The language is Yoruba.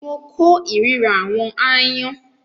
mo kó ìríra “àwọn aáyán ”.